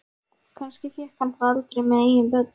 Kannski fékk hann það aldrei með eigin börn.